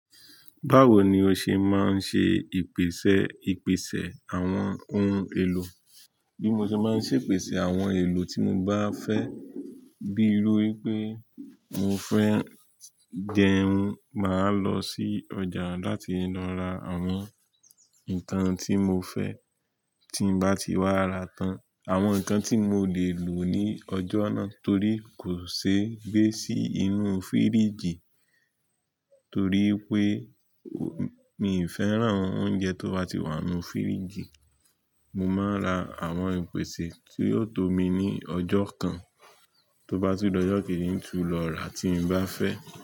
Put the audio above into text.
Báwo ni o ṣe máa ń ṣe ìpèsè, ìpèsè àwọn ohun èlò? Bí mo ṣe máa ń ṣe ìpèsè àwọn ohun èlò tí mo bá fẹ́, bí erú pé mo fẹ́ jẹun, màá lọ sí ọjà láti lọ ra àwọn nǹkan tí mo fẹ́. Tí mo bá ti wá ra tán, àwọn nǹkan tí mo le lò ní ọjọ́ náà torí kò ṣe gbé sí inú fíríjì torí pé mi ì fẹ́ràn oúnjẹ tó bá ti wà nínú fíríjì. Mo máa ra àwọn ìpèsè tí yóò tó mi ní ọjọ́ kan, tó bá tún d'ọ́jọ́ kejì ń tún lọ rà tí mo bá fẹ́.